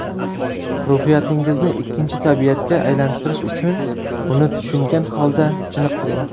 Ruhiyatingizni ikkinchi tabiatga aylantirish uchun uni tushungan holda chiniqtiring.